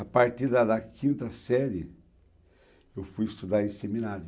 A partir da da quinta série, eu fui estudar em seminário.